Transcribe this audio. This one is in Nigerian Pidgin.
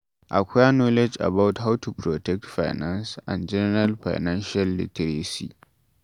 Acquire knowledge about how to protect finance and general financial literacy